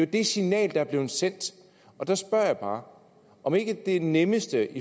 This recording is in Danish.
det signal der er blevet sendt så spørger jeg bare om ikke det nemmeste